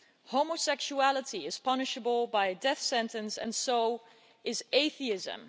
Homosexuality is punishable by the death sentence, and so is atheism.